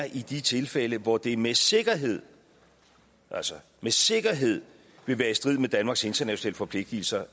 i de tilfælde hvor det med sikkerhed altså med sikkerhed vil være i strid med danmarks internationale forpligtelser